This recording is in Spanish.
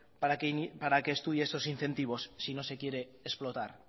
para que estudie estos incentivos si no se quiere explotar